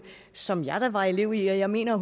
som jeg da var elev i jeg mener